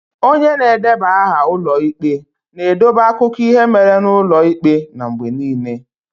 Onye na-edeba aha ụlọ ikpe na-edobe akụkọ ihe mere n'ụlọ ikpe n'mgbe niile.